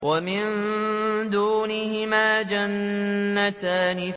وَمِن دُونِهِمَا جَنَّتَانِ